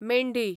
मेंढी